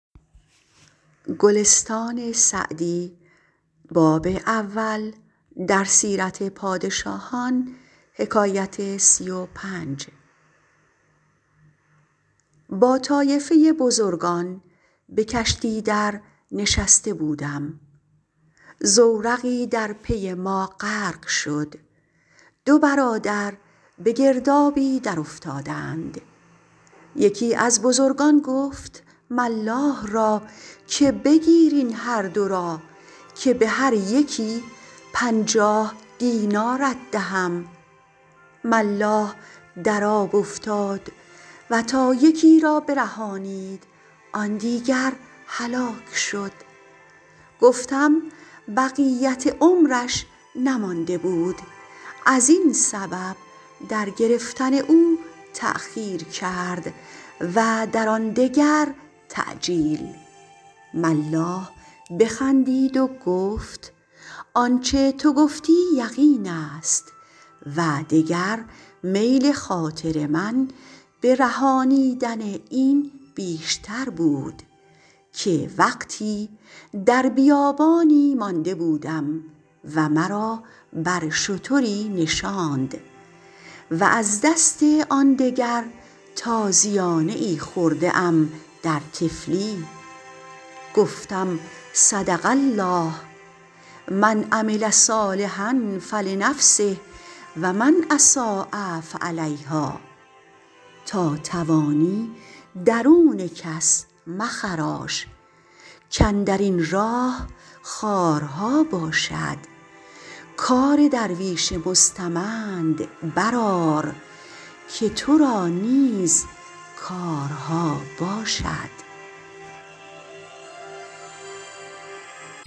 با طایفه بزرگان به کشتی در نشسته بودم زورقی در پی ما غرق شد دو برادر به گردابی در افتادند یکی از بزرگان گفت ملاح را که بگیر این هر دو را که به هر یکی پنجاه دینارت دهم ملاح در آب افتاد و تا یکی را برهانید آن دیگر هلاک شد گفتم بقیت عمرش نمانده بود از این سبب در گرفتن او تأخیر کرد و در آن دگر تعجیل ملاح بخندید و گفت آنچه تو گفتی یقین است و دگر میل خاطر من به رهانیدن این بیشتر بود که وقتی در بیابانی مانده بودم و مرا بر شتری نشاند و از دست آن دگر تازیانه ای خورده ام در طفلی گفتم صدق الله من عمل صالحا فلنفسه و من أساء فعلیهٰا تا توانی درون کس مخراش کاندر این راه خارها باشد کار درویش مستمند بر آر که تو را نیز کارها باشد